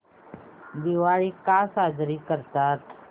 दिवाळी का साजरी करतात